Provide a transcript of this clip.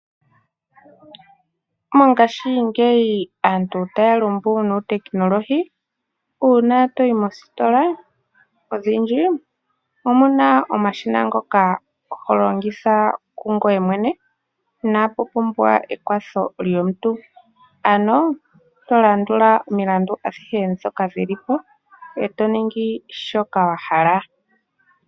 Mongashingeyi aantu otaa lumbu nuuteknolohi. Uuna toyi moostola odhindji omuna omashina ngoka ho longitha kungoye mwene inaa pu pumbwa ekwatho lyomuntu. Ano to landula omilandu adhihe d ndhoka hi li po eto ningi shoka wa hala.